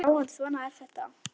Já, en svona er þetta.